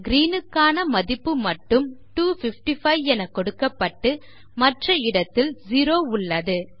அதாவது Green க்கான மதிப்பு மட்டும்255 எனக் கொடுக்கப்பட்டு மற்ற இடத்தில் 0 உள்ளது